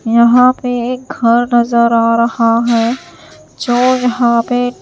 यहां पे एक घर नजर आ रहा है जो यहां पे--